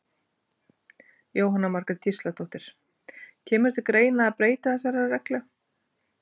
Jóhanna Margrét Gísladóttir: Kemur til greina að breyta þessari reglu?